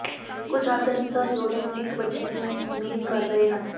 ਕੁਝ ਜਾਣਕਾਰੀ ਅਨੁਸਾਰ ਜੋੜੇ ਨੂੰ ਇੱਕ ਬੱਚੇ ਨੂੰ ਉਮੀਦ ਕਰ ਰਹੇ ਹਨ